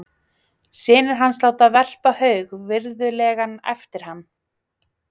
Synir hans láta verpa haug virðulegan eftir hann.